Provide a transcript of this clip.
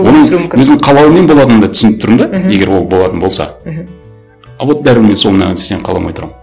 оның өзінің қалауымен болатынын да түсініп тұрмын да мхм егер ол болатын болса мхм а вот бәрібір мен сол маған қаламай тұрамын